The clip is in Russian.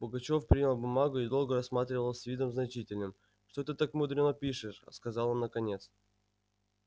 пугачёв принял бумагу и долго рассматривал с видом значительным что ты так мудрено пишешь сказал он наконец